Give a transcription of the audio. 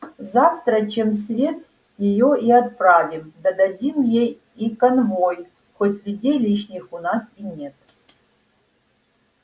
завтра чем свет её и отправим да дадим ей и конвой хоть людей лишних у нас и нет